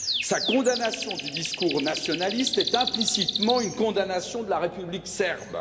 Sa condamnation du discours nationaliste est implicitement une condamnation de la république serbe.